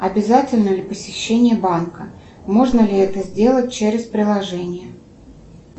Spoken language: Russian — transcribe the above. обязательно ли посещение банка можно ли это сделать через приложение